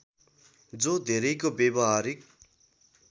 जो धेरैको व्यावहारिक